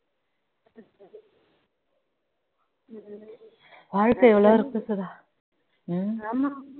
வாழ்க்கை எவ்ளோ இருக்கு சுதா ஹம்